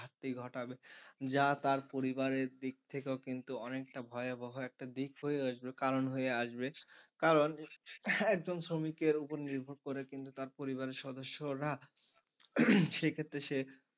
ঘাটবে যা তার পরিবারের দিক থেকেও কিন্তু অনেকটা ভয়াবহ একটা দিক হয়ে আসবে কারণ হয়ে আসবে কারণ একজন শ্রমিকের উপর নির্ভর করে কিন্তু তার পরিবারের সদস্যরা সে ক্ষেত্রে সে,